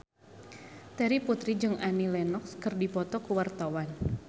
Terry Putri jeung Annie Lenox keur dipoto ku wartawan